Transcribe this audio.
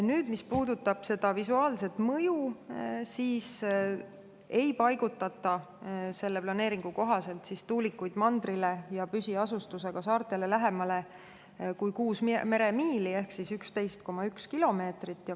Nüüd, mis puudutab seda visuaalset mõju, siis ei paigutata selle planeeringu kohaselt tuulikuid mandrile ja püsiasustusega saartele lähemale kui kuus meremiili ehk 11,1 kilomeetrit.